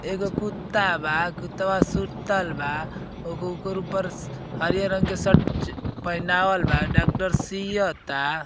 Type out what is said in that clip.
एगो कुत्ता बा कुत्तवा सुतल बा। ओगो ओकर ऊपर हरियर रंग के शर्ट च् पहीनावल बा डॉक्डर सियता।